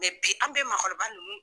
bi an bɛ maakɔrɔba ninnu